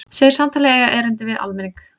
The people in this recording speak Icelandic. Segir samtalið eiga erindi við almenning